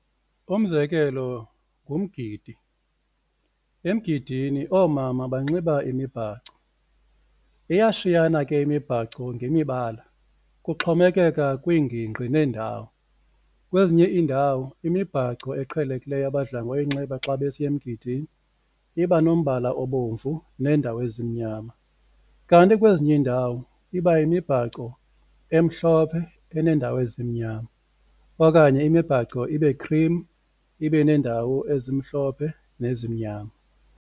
Umzekelo, ngumgidi, emgidini oomama banxiba imibhaco iyashiyana ke imibhaco ngemibala kuxhomekeka kwiingingqi neendawo. Kwezinye iindawo imibhaco eqhelekileyo abadla ngoyinxiba xa besiya emgidini iba nombala obomvu neendawo ezimnyama, kanti kwezinye iindawo iba yimibhaco emhlophe eneendawo ezimnyama okanye imibhaco ibe-cream ibe neendawo ezimhlophe nezimnyama.